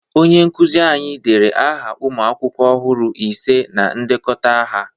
Onye nkụzị anyị dere aha ụmụ akwụkwọ ọhụrụ ise na ndekọta aha.